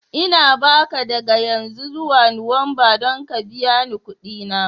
Ina ba ka daga yanzu zuwa Nuwamba don ka biya ni kuɗi na.